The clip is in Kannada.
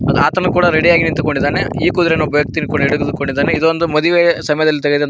ಅದು ಆತನು ಕೂಡ ರೆಡಿ ಯಾಗಿ ನಿಂತುಕೊಂಡಿದ್ದಾನೆ ಈ ಕುದುರೆಯನ್ನು ಒಬ್ಬ ವ್ಯಕ್ತಿ ಎಳೆದು ಹಿಡಿದುಕೊಂಡಿದ್ದಾನೆ ಇದೊಂದು ಮದುವೆ ಸಮಯದಲ್ಲಿ ತೆಗೆದಂತ --